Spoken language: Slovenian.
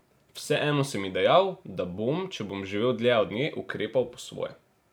Vseeno sem ji dejal, da bom, če bom živel dlje od nje, ukrepal po svoje.